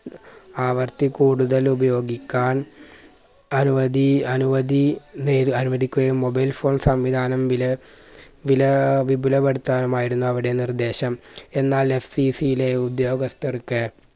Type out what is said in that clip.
ആവർത്തി കൂടുതൽ ഉപയോഗിക്കാൻ അനുവദീ അനുവധീ നേ അനുവദിക്കുകയും mobile phone സംവിധാനം വില വിലാ വിപുലപ്പെടുത്താനും ആയിരുന്നു അവിടെ നിർദ്ദേശം. എന്നാൽ FCC ലെ ഉദ്യോഗസ്ഥർക്ക്